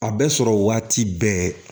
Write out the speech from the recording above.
A bɛ sɔrɔ waati bɛɛ